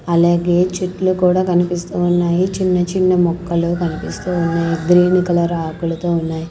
అలాగే చెట్లు కూడా కనిపిస్తూ ఉన్నాయి చిన్న చిన్న మొక్కలు కనిపిస్తూ ఉన్నాయి గ్రీన్ కలర్ ఆకులతో ఉన్నాయి.